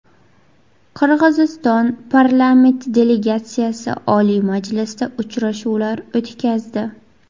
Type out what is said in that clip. Qirg‘iziston parlament delegatsiyasi Oliy Majlisda uchrashuvlar o‘tkazdi.